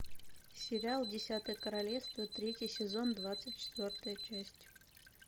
сериал десятое королевство третий сезон двадцать четвертая часть